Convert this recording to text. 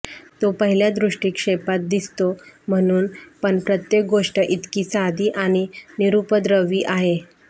तो पहिल्या दृष्टीक्षेपात दिसते म्हणून पण प्रत्येक गोष्ट इतकी साधी आणि निरुपद्रवी आहे